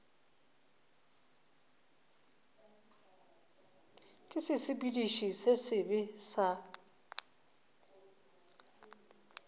ke sesepediši se sebe sa